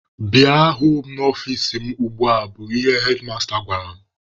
Bịa hụ m n'ọfici mụ ugbua! bụ ihe hedmasta gwara m.